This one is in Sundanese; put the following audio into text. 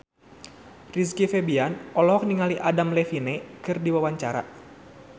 Rizky Febian olohok ningali Adam Levine keur diwawancara